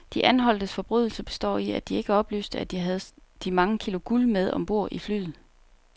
De anholdtes forbrydelse består i, at de ikke oplyste, at de havde de mange kilo guld med om bord i flyet.